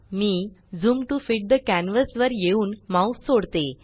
me zoom to fit the canvas वर येऊन mouse सोडते